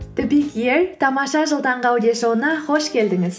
тамаша жыл таңғы аудиошоуына қош келдіңіз